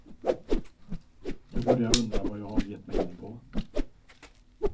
Jag börjar undra vad jag har gett mig in på.